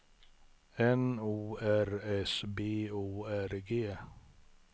N O R S B O R G